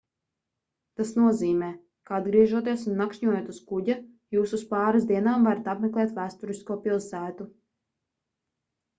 tas nozīmē ka atgriežoties un nakšņojot uz kuģa jūs uz pāris dienām varat apmeklēt vēsturisko pilsētu